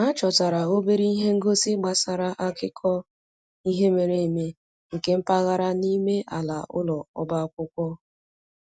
Ha chọtara obere ihe ngosi gbasara akụkọ ihe mere eme nke mpaghara n'ime ala ụlọ ọba akwụkwọ